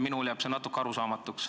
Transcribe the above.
Minule jääb see natuke arusaamatuks.